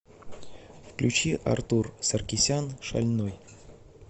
включи артур саркисян шальной